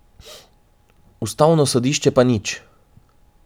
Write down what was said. Ustavno sodišče pa nič.